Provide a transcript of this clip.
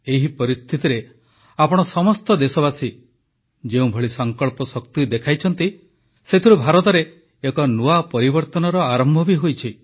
ଏହି ପରିସ୍ଥିତିରେ ଆପଣ ସମସ୍ତ ଦେଶବାସୀ ଯେଭଳି ସଙ୍କଳ୍ପ ଶକ୍ତି ଦେଖାଇଛନ୍ତି ସେଥିରୁ ଭାରତରେ ଏକ ନୂଆ ପରିବର୍ତ୍ତନର ଆରମ୍ଭ ବି ହୋଇଛି